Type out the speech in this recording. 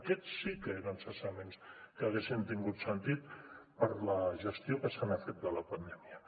aquests sí que eren cessaments que haguessin tingut sentit per la gestió que se n’ha fet de la pandèmia